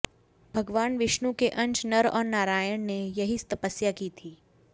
भगवान विष्णु के अंश नर और नारायण ने यहीं तपस्या की थी